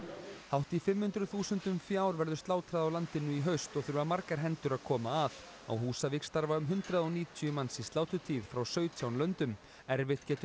hátt í fimm hundruð þúsundum fjár verður slátrað á landinu í haust og þurfa margar hendur að koma að á Húsavík starfa um hundrað og níutíu manns í sláturtíð frá sautján löndum erfitt getur